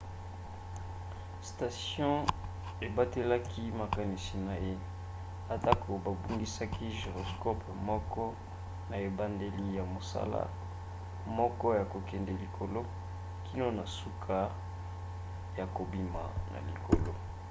station ebatelaki makanisi na ye atako babungisaki gyroscope moko na ebandeli na mosala moko ya kokende likolo kino na suka ya kobima na likolo